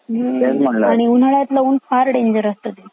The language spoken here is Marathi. हं आणि उन्हळ्यातला ऊन फार डेंजर असता तिथला